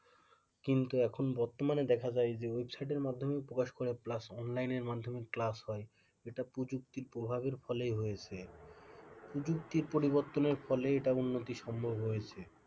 কিন্তু এখন বর্তমানে দেখা যায় যে ওয়েবসাইটের মাধ্যমে প্রকাশ করে plus অনলাইনের মাধ্যমেও ক্লাস হয় এটা প্রযুক্তির প্রভাব এর ফলেই হয়েছে প্রযুক্তির পরিবর্তনের ফলে এই উন্নতি সম্ভব হয়েছে,